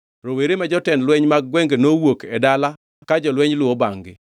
Rowere ma jotend lweny mag gwenge nowuok e dala ka jolweny luwo bangʼ-gi,